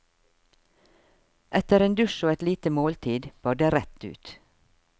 Etter en dusj og et lite måltid bar det rett ut.